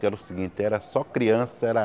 Que era o seguinte, era só criança, era